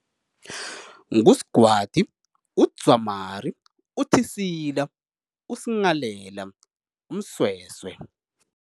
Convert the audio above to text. NguSgwadi, uDzwamari, uThisila, uSnghalela, uMsweswe.